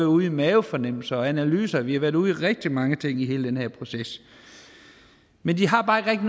ude i mavefornemmelser og analyser vi har været ude i rigtig mange ting i hele den her proces men de har bare ikke